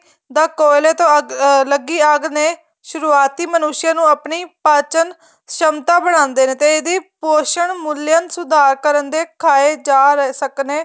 ਦਾ ਕੋਹਲੇ ਦੀ ਲੱਗੀ ਅੱਗ ਨੇ ਸੁਰੂਆਤੀ ਮਨੁਹਸ ਨੂੰ ਆਪਣੀ ਪਾਚਨ ਸਮਤਾ ਬੜਾਦੇ ਨੇ ਤੇ ਇਹਦੀ ਪੋਚਣ ਮੁਰਲੀਅਨ ਸੁਧਾਰ ਕਰਨ ਦੇ ਖਾਏ ਜਾ ਰਹੇ ਸਖਣੇ